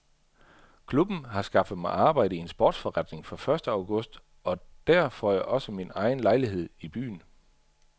Klubben har skaffet mig arbejde i en sportsforretning fra første august og der får jeg også min egen lejlighed i byen.